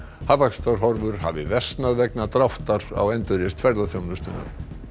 hagvaxtarhorfur hafa versnað vegna dráttar á endurreisn ferðaþjónustunnar